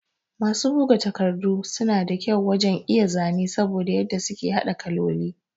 Masu bugu takardu sun da kyau wajan iya zane saboda yadda suke hada kalloli